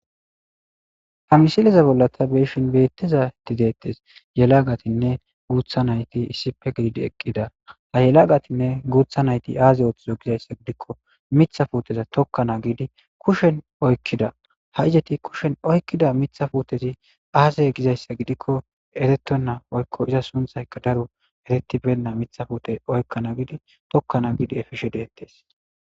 Ha misileza bolla ta beeshin beettizati deettes yelaagatinne guutha nayti issipe giidi eqqida ha yelagatinne guutha nayti aaze ooththizo gizayssa gidikko mitha fuuteza tokkana giidi kushen oykkida ha ijeti kushen oykkida mitha futezi aazey gizayssa gidikko eretto naa oykko iza sunthayka daro eretibenda mitha fute oykkana giidi tokkana giidi efishe deettes.